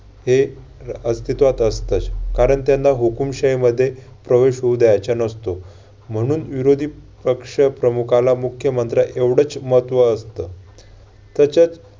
हे अस्तित्वात असतच कारण त्यांना हुकूमशाहीमध्ये प्रवेश होऊ द्यायचा नसतो. म्हणून विरोधी पक्ष प्रमुखाला मुख्यमंत्र्याएवढच महत्त्व असतं. त्याच्यात